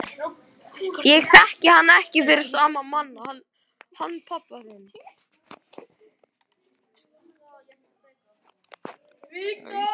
Ég þekki hann ekki fyrir sama mann hann pabba þinn.